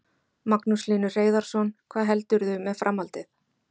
Magnús Hlynur Hreiðarsson: Hvað heldurðu með framhaldið?